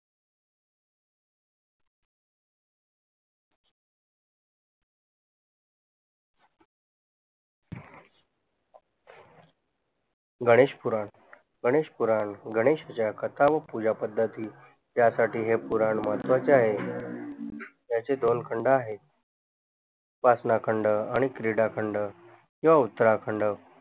गणेश पुराण गणेश पुराण गणेश ज्या कथांग पूजा पद्धती यासाठी हे पुराण महत्वाचे आहे याचे दोन खंड आहेत वासना खंड आणि क्रीडा खंड किवा उत्तराखंड